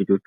ልጆቹ